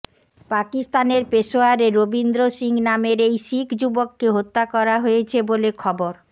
পাকিস্তানের পেশোয়ারে রবীন্দ্র সিং নামের এই শিখ যুবককে হত্যা করা হয়েছে বলে খবর